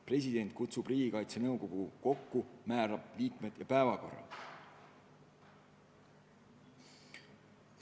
President kutsub Riigikaitse Nõukogu kokku, määrab selle koosseisu ja töökorra.